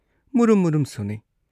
ꯃꯨꯔꯨꯝ ꯃꯨꯔꯨꯝ ꯁꯣꯟꯅꯩ ꯫